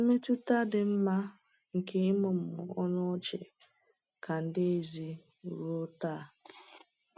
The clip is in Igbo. Mmetụta dị mma nke ịmụmụ ọnụ ọchị ka dị ezi ruo taa.